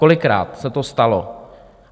Kolikrát se to stalo?